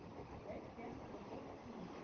Vel gert og gott vín.